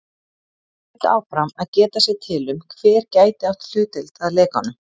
Þeir héldu áfram að geta sér til um, hver gæti átt hlutdeild að lekanum.